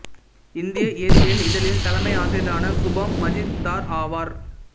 இந்திய இயற்பியல் இதழின் தலைமை ஆசிரியரான சுபாம் மஜும்தார் ஆவார்